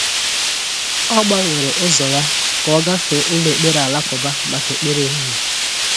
Ọ gbanwere ụzọ ya ka ọ gafee ụlọ ekpere alakụba maka ekpere ehihie.